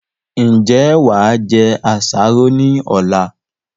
Ń jẹ́ wá jẹ àsáró ni ọ̀la?